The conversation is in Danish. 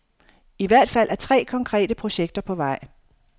I hvert fald er tre konkrete projekter på vej.